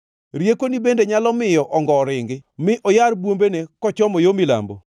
“Riekoni bende nyalo miyo ongo ringi mi oyar bwombene kochomo yo milambo?